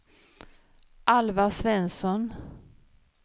Alvar Svensson